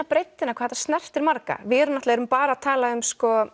breiddina hvað þetta snertir marga við erum náttúrulega bara að tala um